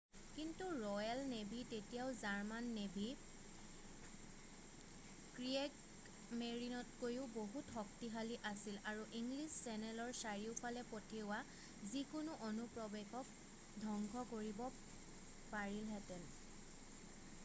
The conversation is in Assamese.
"কিন্তু ৰ'য়েল নেভী তেতিয়াও জাৰ্মান নেভী "ক্ৰিয়েগমেৰিন" তকৈও বহুত শক্তিশালী আছিল আৰু ইংলিছ চেনেলৰ চাৰিওফালে পঠিওৱা যিকোনো অনুপ্ৰৱেশক ধ্বংস কৰিব পাৰিলেহেতে।""